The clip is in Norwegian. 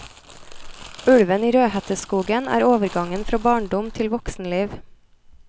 Ulven i rødhetteskogen er overgangen fra barndom til voksenliv.